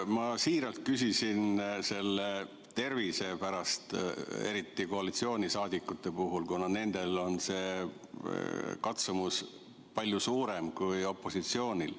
Ma siiralt küsisin tervise kohta, eriti koalitsiooniliikmete puhul, kuna nendel on see katsumus palju suurem kui opositsioonil.